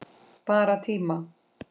Bara tíma